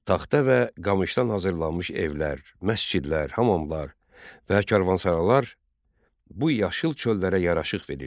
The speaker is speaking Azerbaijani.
Taxta və qamışdan hazırlanmış evlər, məscidlər, hamamlar və karvansaralar bu yaşıl çöllərə yaraşıq verirdi.